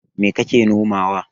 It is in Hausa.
Mai kake nomawa?